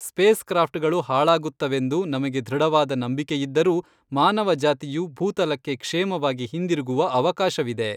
ಸ್ಪೇಸ್‌ಕ್ರಾಫ್ಟ್‌ಗಳು ಹಾಳಾಗುತ್ತವೆಂದು ನಮಗೆ ದೃಢವಾದ ನಂಬಿಕೆಯಿದ್ದರೂ ಮಾನವ ಜಾತಿಯು ಭೂತಲಕ್ಕೆ ಕ್ಷೇಮವಾಗಿ ಹಿಂದಿರುಗುವ ಅವಕಾಶವಿದೆ